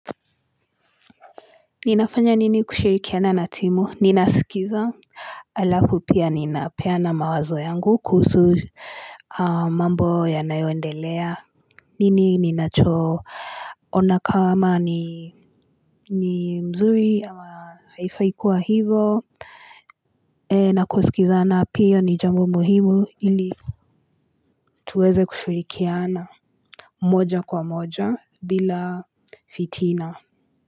Ninafanya nini kushirikiana na timu ninasikiza Alafu pia ninapeana mawazo yangu kuhusu mambo yanayoendelea nini ninachoona kama ni mzuri ama haifai kuwa hivo na kusikizana pia ni jambo muhimu ili tuweze kushirikiana moja kwa moja bila fitina.